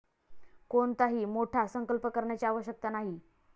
कोणताही मोठा संकल्प करण्याची आवश्यकता नाही.